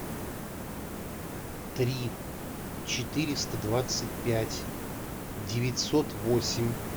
три четыреста двадцать пять девятьсот восемь